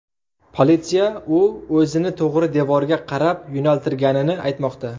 Politsiya u o‘zini to‘g‘ri devorga qarab yo‘naltirganini aytmoqda.